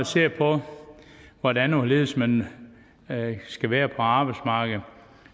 ser på hvordan og hvorledes man skal være på arbejdsmarkedet